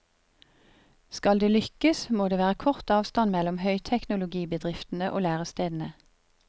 Skal det lykkes, må det være kort avstand mellom høyteknologibedriftene og lærestedene.